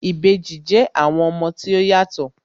Ìbejì jẹ́ àwọn ọmọ tí ó yàtọ̀